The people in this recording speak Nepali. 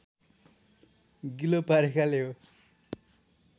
गिलो पारेकाले हो